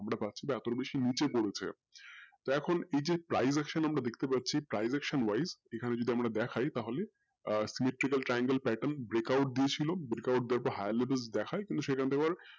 আমরা পাচ্ছি তার থেকেও বেশি নিচে পাচ্ছি তো এখন এই যে privection আমরা দেখতে পারছি আছে না privection wise আমরা দেখতে পাচ্ছিএখানে আমরা দেখেই electrical triangle patter breakout দিয়েছিলো break out দেওয়ার পর higher levels কিন্তু সেখান থাকে আবার